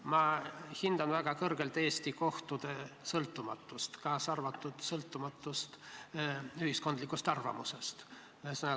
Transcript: Ma hindan väga kõrgelt Eesti kohtute sõltumatust, kaasa arvatud sõltumatust ühiskondlikust arvamusest.